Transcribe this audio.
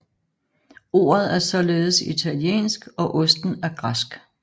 Ordet er således italiensk og osten er græsk